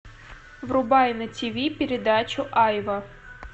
врубай на тиви передачу айва